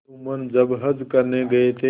जुम्मन जब हज करने गये थे